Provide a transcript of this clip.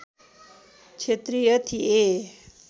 क्षत्रिय थिए